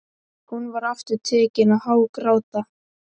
Hún var aftur tekin að hágráta.